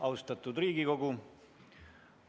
Austatud Riigikogu!